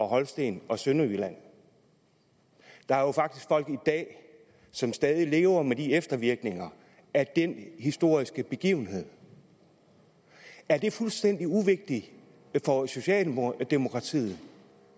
holsten og sønderjylland der er faktisk folk i dag som stadig lever med eftervirkningerne af den historiske begivenhed er det fuldstændig uvigtigt for socialdemokratiet